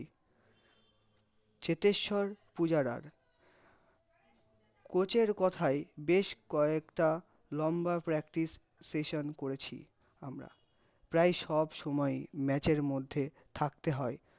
তেথেস্বার পূজারার, কোচের কোথায়, বেশ কয়েকে লম্ব practice session করেছি আমরা, প্রায় সব সময় match এর মধ্যে থাকে হয়ে